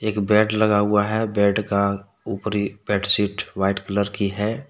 एक बेड लगा हुआ है बेड का ऊपरी बेडसीट वाइट कलर की है।